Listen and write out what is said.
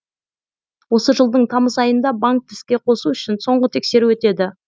осы жылдың тамыз айында банкты іске қосу үшін соңғы тексеру өтеді